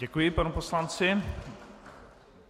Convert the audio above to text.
Děkuji panu poslanci.